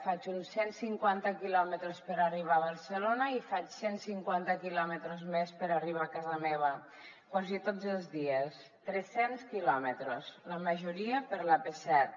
faig uns cent cinquanta quilòmetres per arribar a barcelona i faig cent cinquanta quilòmetres més per arribar a casa meva quasi tots els dies tres cents quilòmetres la majoria per l’ap set